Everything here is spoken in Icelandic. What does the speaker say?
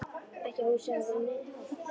Ekki að húsið hafi verið nein höll.